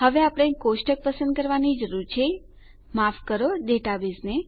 હવે આપણે કોષ્ટક પસંદ કરવાની જરૂર છે માફ કરો ડેટાબેઝને